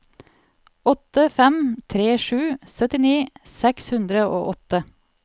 åtte fem tre sju syttini seks hundre og åtte